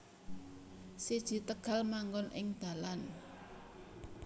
siji Tegal manggon ing dalan